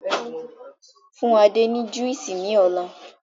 Fún Adé ni Juísì ni ọ̀la!